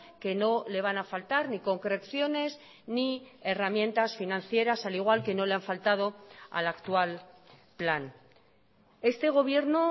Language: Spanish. que no le van a faltar ni concreciones ni herramientas financieras al igual que no le han faltado al actual plan este gobierno